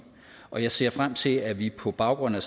og jeg ser frem til at vi på baggrund af